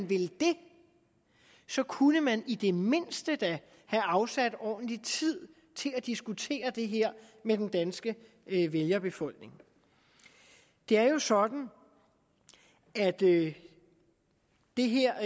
vil det kunne man i det mindste have afsat ordentlig tid til at diskutere det her med den danske vælgerbefolkning det er jo sådan at det det her